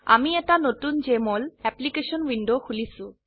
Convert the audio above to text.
আমি এটা নতুন জেএমঅল অ্যাপ্লিকেশন উইন্ডো খুলিছো